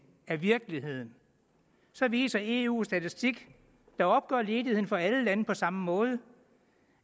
af virkeligheden viser eus statistik der opgør ledigheden for alle lande på samme måde